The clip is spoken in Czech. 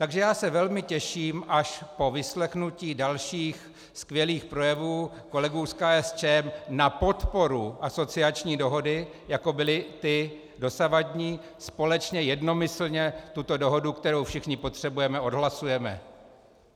Takže já se velmi těším, až po vyslechnutí dalších skvělých projevů kolegů z KSČM na podporu asociační dohody, jako byly ty dosavadní, společně jednomyslně tuto dohodu, kterou všichni potřebujeme, odhlasujeme.